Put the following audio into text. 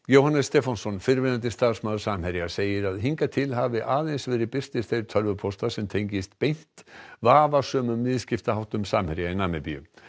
Jóhannes Stefánsson fyrrverandi starfsmaður Samherja segir að hingað til hafi aðeins verið birtir þeir tölvupóstar sem tengist beint vafasömum viðskiptaháttum Samherja í Namibíu